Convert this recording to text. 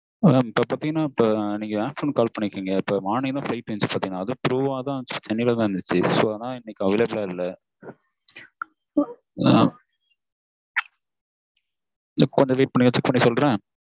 ஆஹ் இப்போ பாத்தீங்கன்னா நீங்க afternoon call பண்ணிருக்கீங்க morning நா flight இருந்துச்சு பாத்தீங்கன்னா அதுவும் through வா தான் சென்னைல தான் இருந்துச்சு so அதுனால இன்னைக்கு available ஆ இல்ல கொஞ்சம் wait பண்றீங்களா check பண்ணி சொல்றேன்.